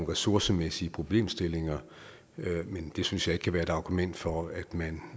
ressourcemæssige problemstillinger men det synes jeg ikke kan være et argument for at man